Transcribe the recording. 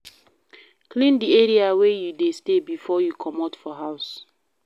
Clean di area wey you dey stay before you comot for house